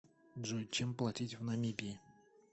джой чем платить в намибии